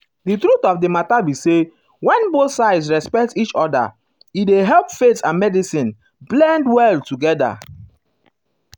the truth of the matter be say when both sides respect each other e dey help faith and medicine ah blend well together.